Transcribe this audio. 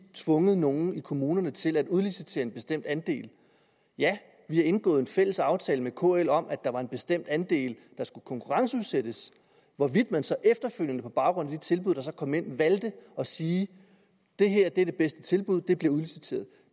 tvunget nogen i kommunerne til at udlicitere en bestemt andel ja vi har indgået en fælles aftale med kl om at der var en bestemt andel der skulle konkurrenceudsættes hvorvidt man så efterfølgende på baggrund af de tilbud der så kom ind valgte at sige at det her er det bedste tilbud og det bliver udliciteret